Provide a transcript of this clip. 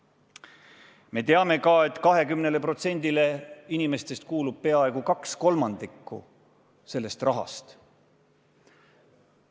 Me teame ka, et 20%-le inimestest kuulub peaaegu kaks kolmandikku sellest rahast.